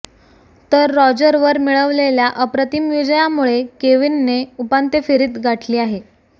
तर रॉजरवर मिळवलेल्या अप्रतिम विजयामुळे केविनने उपांत्यफेरीत गाठली आहे